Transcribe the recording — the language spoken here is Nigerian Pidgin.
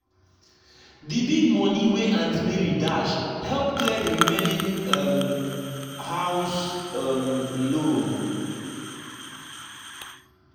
the big money wey aunt mary dash help clear the remaining um house um loan.